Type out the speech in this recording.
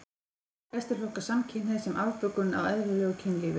Flestir flokka samkynhneigð sem afbökun á eðlilegu kynlífi.